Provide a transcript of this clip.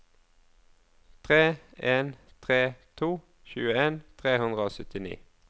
tre en tre to tjueen tre hundre og syttini